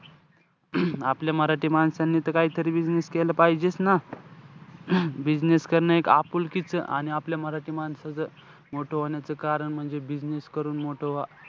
आपल्या मराठी माणसांनी त काहीतरी business केलं पाहिजेचं न. business करणं हे एक आपुलकीचं आणि आपल्या मराठी माणसाचं मोठं होण्याचं कारण म्हणजे business करून मोठं व्हा.